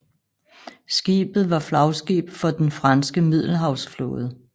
Skibet var flagskib for den franske Middelhavsflåde